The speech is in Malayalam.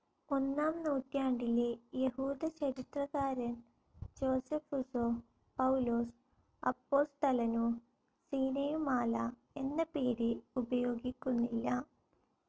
ഒന്നാം നൂറ്റാണ്ടിലെ യഹൂദചരിത്രകാരൻ ജോസെഫുസോ, പൌലോസ് അപ്പോസ്തലനോ സീനയു മാല എന്ന പേര് ഉപയോഗിക്കുന്നില്ല.